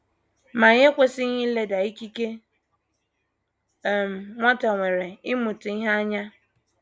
Ma anyị ekwesịghị ileda ikike um nwata nwere ịmụta ihe anya.